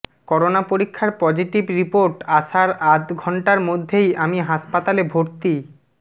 corona পরীক্ষার positive report আসার আধ ঘন্টার মধ্যেই আমি হাসপাতালে ভর্তি